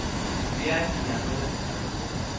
bea dinyakwa tša setšhaba tša